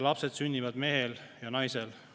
Lapsed sünnivad mehel ja naisel.